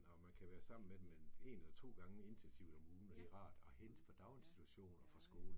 Og man kan være sammen med dem mellem en eller to gange intensivt om ugen, og det er rart at hente fra daginstitution og fra skole